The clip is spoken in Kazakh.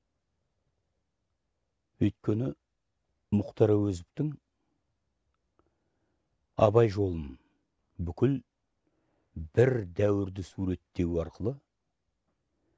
өйткені мұхтар әуезовтың абай жолын бүкіл бір дәуірді суреттеу арқылы